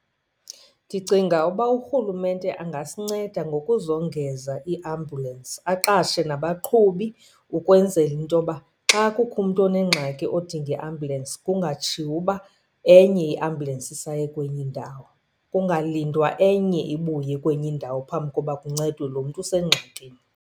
Ndicinga uba urhulumente angasinceda ngokuzongeza iiambulensi, aqashe nabaqhubi ukwenzela into yoba xa kukho umntu onengxaki odinga iambulensi kungatshiwo uba enye iambulensi isaye kwenye indawo. Kungalindwa enye ibuye kwenye indawo phambi koba kuncedwe lo mntu usengxakini.